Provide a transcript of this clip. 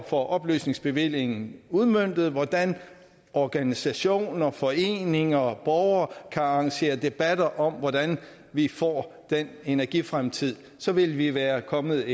får oplysningsbevillingen udmøntet hvordan organisationer foreninger og borgere kan arrangere debatter om hvordan vi får den energifremtid så ville vi være kommet